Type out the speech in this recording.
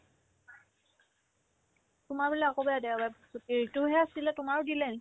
তোমাৰ বোলে অকল বোলে দেওবাৰে ছুটিৰতোহে আছিলে তোমাৰো দিলে নেকি ?